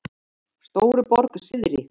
Stóruborg syðri